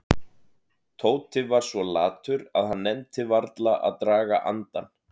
Tóti var svo latur að hann nennti varla að draga andann.